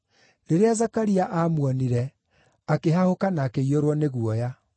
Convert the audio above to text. Rĩrĩa Zakaria aamuonire, akĩhahũka na akĩiyũrwo nĩ guoya.